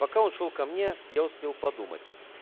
пока он шёл ко мне я успел подумать